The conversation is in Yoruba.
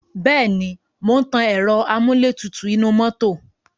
Bẹ́ẹ̀ ni, mò ń tan ẹ̀ro amúlétutù inú mọ́tò.